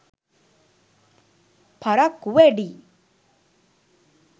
පරක්කු වැඩියි.